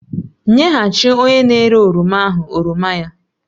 Nyeghachi onye na-ere oroma ahụ oroma ya!